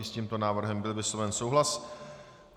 I s tímto návrhem byl vysloven souhlas.